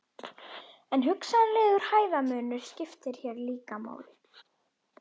En hugsanlegur hæðarmunur skiptir hér líka máli.